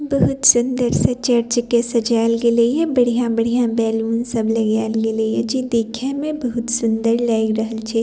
बहुत सुंदर से चर्च के सजायल गेलय हिये बढ़िया-बढ़िया बैलून सब लगाया गेले हिये जे देखे में बहुत सुंदर लायग रहल छे।